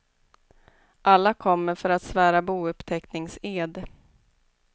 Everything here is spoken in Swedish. Alla kommer för att svära bouppteckningsed.